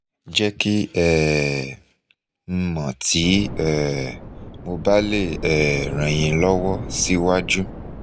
jẹ ki um n mọ ti um mo ba le um ran yin lọwọ siwaju